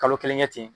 Kalo kelen kɛ ten